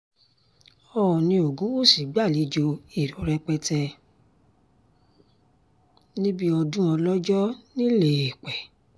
oòní ogunwúsì gbàlejò èrò rẹpẹtẹ níbi ọdún ọlọ́jọ́ ńìléèpẹ̀